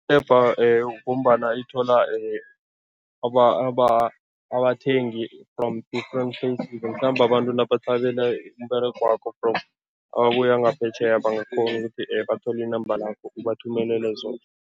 Ngombana ithola abathengi from different places, mhlambe abantu nabathabela umberegwakho from ababuya ngaphetjheya bangakghona ukuthi bathole i-number lakho ubathumelele zona.